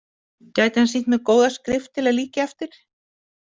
Gæti hann sýnt mér góða skrift til að líkja eftir?